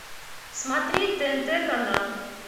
смотреть тнт канал